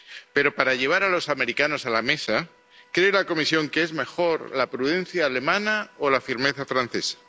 Pero para llevar a los americanos a la mesa, ¿cree la Comisión qué es mejor la prudencia alemana o la firmeza francesa?